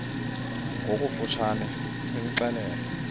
ngokofu tshane imxelele